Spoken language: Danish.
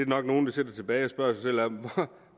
nok nogle der sidder tilbage og spørger sig selv om